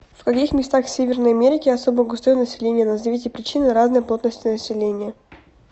в каких местах северной америки особо густое население назовите причины разной плотности населения